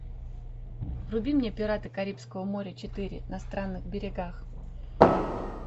вруби мне пираты карибского моря четыре на странных берегах